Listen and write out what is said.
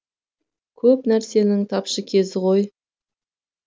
көп нәрсенің тапшы кезі ғой